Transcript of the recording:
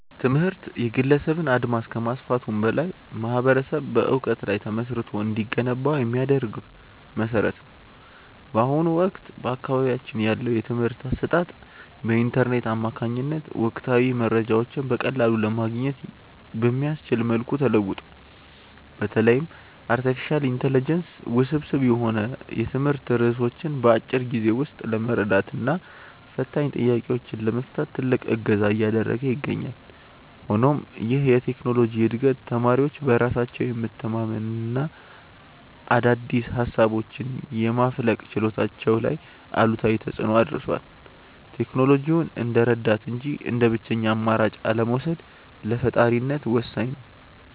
ትምህርት የግለሰብን አድማስ ከማስፋቱም በላይ ማኅበረሰብ በዕውቀት ላይ ተመስርቶ እንዲገነባ የሚያደርግ መሠረት ነው። በአሁኑ ወቅት በአካባቢያችን ያለው የትምህርት አሰጣጥ በኢንተርኔት አማካኝነት ወቅታዊ መረጃዎችን በቀላሉ ለማግኘት በሚያስችል መልኩ ተለውጧል። በተለይም አርቲፊሻል ኢንተለጀንስ ውስብስብ የሆኑ የትምህርት ርዕሶችን በአጭር ጊዜ ውስጥ ለመረዳትና ፈታኝ ጥያቄዎችን ለመፍታት ትልቅ እገዛ እያደረገ ይገኛል። ሆኖም ይህ የቴክኖሎጂ ዕድገት ተማሪዎች በራሳቸው የመተንተንና አዳዲስ ሃሳቦችን የማፍለቅ ችሎታቸው ላይ አሉታዊ ተፅእኖ አድርሷል። ቴክኖሎጂውን እንደ ረዳት እንጂ እንደ ብቸኛ አማራጭ አለመውሰድ ለፈጣሪነት ወሳኝ ነው።